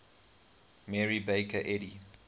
mary baker eddy